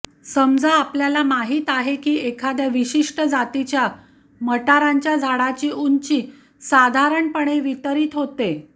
समजा आपल्याला माहीत आहे की एखाद्या विशिष्ट जातीच्या मटारांच्या झाडाची उंची साधारणपणे वितरीत होते